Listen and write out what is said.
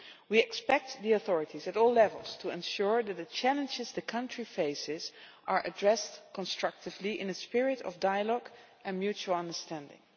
We expect the authorities at all levels to ensure that the challenges the country faces are addressed constructively, in a spirit of dialogue and mutual understanding.